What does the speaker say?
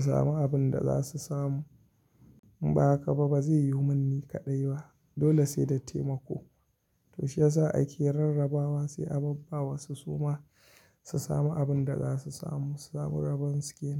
sami abin da za su samu. In ba haka ba, ba zai yiwu min ni kaɗai ba. Dole sai da taimako. To shiyasa ake rarrabawa sai a babba wasu su ma su sami abin da za su samu, samu rabon su ke nan.